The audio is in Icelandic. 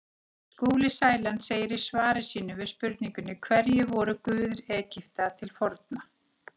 Skúli Sæland segir í svari sínu við spurningunni Hverjir voru guðir Egypta til forna?